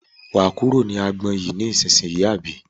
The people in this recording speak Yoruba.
Wà á kúrò ní agbọn yìí ní ìsínyì àbí?